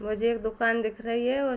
मुझे एक दुकान दिख रही है उ--